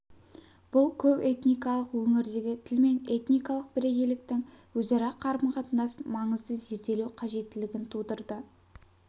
бұл көпэтникалық өңірдегі тіл мен этникалық бірегейліктің өзара қарым-қатынасын маңызды зерделеу қажеттілігін тудырды